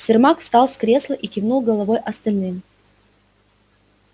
сермак встал с кресла и кивнул головой остальным